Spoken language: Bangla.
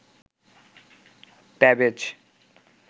তেভেজ